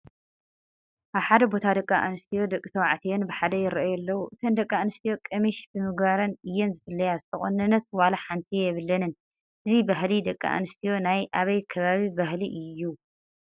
ኣብ ሓደ ቦታ ደቂ ኣንስትዮን ደቂ ተባዕትዮን ብሓደ ይርአዩ ኣለዉ፡፡ እተን ደቂ ኣነስትዮ ቀምሽ ብምግባረን እየን ዝፍለያ፡፡ ዝተቆነነት ዋላ ሓንቲ የብለንን፡፡ እዚ ባህሊ ደቂ ኣነስትዮ ናይ ኣበይ ከባቢ ባህሊ እዩ?